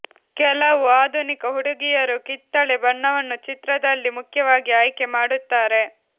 ಕೆಲವು ಆಧುನಿಕ ಹುಡುಗಿಯರು ಕಿತ್ತಳೆ ಬಣ್ಣವನ್ನು ಚಿತ್ರದಲ್ಲಿ ಮುಖ್ಯವಾಗಿ ಆಯ್ಕೆ ಮಾಡುತ್ತಾರೆ